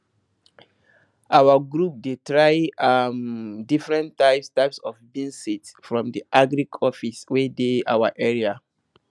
our group dey try um different types types of beans seed from the agric office wey dey our area